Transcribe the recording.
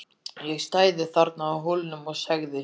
Ég stæði þarna á Hólnum og segði